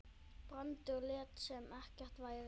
Brandur lét sem ekkert væri.